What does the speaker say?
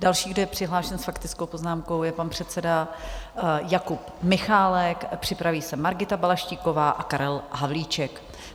Další, kdo je přihlášen s faktickou poznámkou, je pan předseda Jakub Michálek, připraví se Margita Balaštíková a Karel Havlíček.